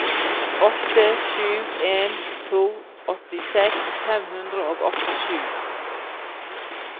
åtte sju en to åttiseks fem hundre og åttisju